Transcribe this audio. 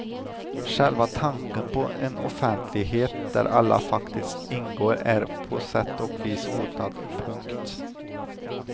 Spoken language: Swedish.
Själva tanken på en offentlighet där alla faktiskt ingår är på sätt och vis hotad. punkt